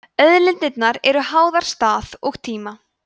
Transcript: auðlindir eru háðar stað og tíma